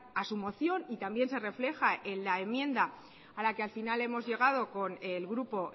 a su moción y también se refleja en la enmienda a la que al final hemos llegado con el grupo